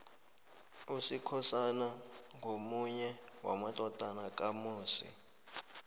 usikhosana ngomunye wamadodana kamusi